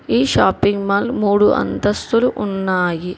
ఈ shopping mall మూడు అంతస్తులు ఉన్నాయి.